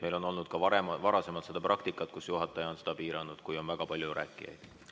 Meil on olnud ka varem seda praktikat, et juhataja on aega piiranud, kui on väga palju rääkijaid.